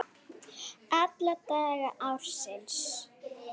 Alla daga ársins!